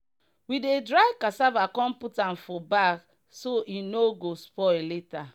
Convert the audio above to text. we dey dry cassava come put am for bag so e no go spoil later.